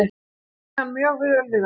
Ég kann mjög vel við það.